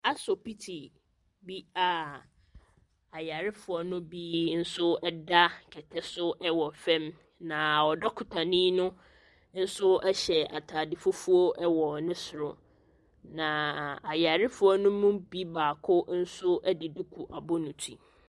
Asopiti bi a ayarefoɔ no bi nso da kɛtɛ so wɔ fam, na dɔkotani no nso hyɛ atade fufuo wɔ ne soro. Naaaa . Ayarefoɔ no mu bi baako nso de duku abɔ ne ti.